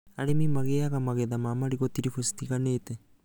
Arĩmi magĩaga magetha ma marigũ tiribũ citiganĩte